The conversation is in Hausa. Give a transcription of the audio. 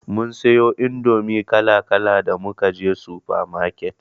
Mun siyo indomi kala kala da muka je sufa maket.